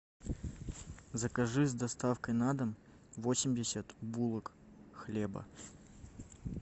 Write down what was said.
закажи с доставкой на дом восемьдесят булок хлеба